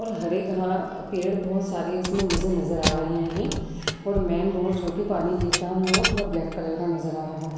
और हरे घा पेड़ बोहोत सारे इसमे मुझे नजर आ रहे है और मैंन रोड जोकि पानी गिरता हुआ पूरा ब्लैक कलर का नजर आ रहा है।